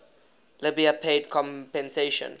libya paid compensation